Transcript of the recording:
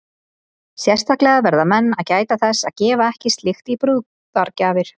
Sérstaklega verða menn að gæta þess að gefa ekki slíkt í brúðargjafir.